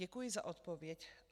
Děkuji za odpověď.